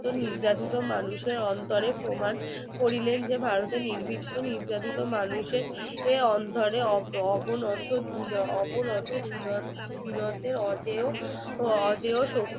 নির্যাতিত অন্তরের মানুষের প্রমাণ করিলেন যে ভারতের নির্দিষ্ট নির্যাতিত মানুষের এই অন্তরে অবিনর্ত ভিন্ন অজেয় শক্তি